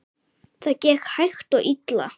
Það gekk hægt og illa.